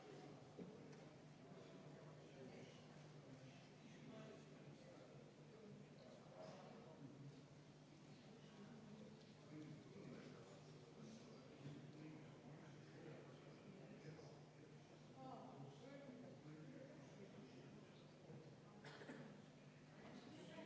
Tegemist on põhiseadusevastase eelnõuga, palun panna see muudatusettepanek hääletusele ja enne seda kümme minutit vaheaega.